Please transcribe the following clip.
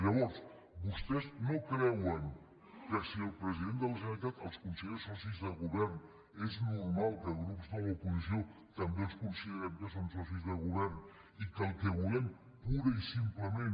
llavors vostès no creuen que si el president de la generalitat els considera socis de govern és normal que grups de l’oposició també considerem que són socis de govern i que el que volem purament i simplement